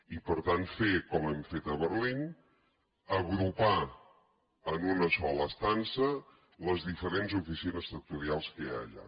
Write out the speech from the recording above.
i per tant fer com hem fet a berlín agrupar en una sola estança les diferents oficines sectorials que hi ha allà